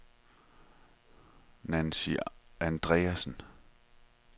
Nancy Andreasen